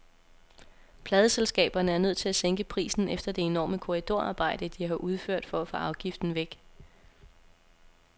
Pladeselskaberne er nødt til at sænke prisen efter det enorme korridorarbejde, de har udført for at få afgiften væk.